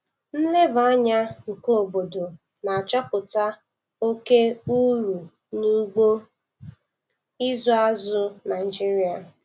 Nleba anya nke obodo na-achọpụta oke uru n'ugbo ịzụ azụ Naijiria